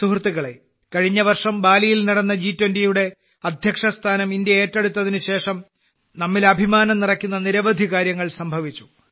സുഹൃത്തുക്കളേ കഴിഞ്ഞവർഷം ബാലിയിൽ നടന്ന ജി20യുടെ അധ്യക്ഷസ്ഥാനം ഇന്ത്യ ഏറ്റെടുത്തതിനുശേഷം നമ്മിൽ അഭിമാനം നിറയ്ക്കുന്ന നിരവധി കാര്യങ്ങൾ സംഭവിച്ചു